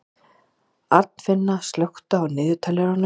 Arnfinna, slökktu á niðurteljaranum.